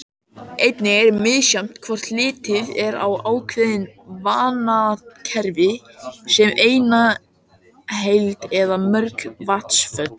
Einnig er misjafnt hvort litið er á ákveðin vatnakerfi sem eina heild eða mörg vatnsföll.